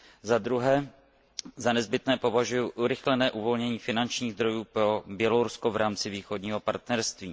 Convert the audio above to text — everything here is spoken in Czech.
Zadruhé za nezbytné považuji urychlené uvolnění finančních zdrojů pro Bělorusko v rámci Východního partnerství.